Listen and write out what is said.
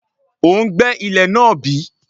O ń gbẹ́ ilẹ̀ náà bí?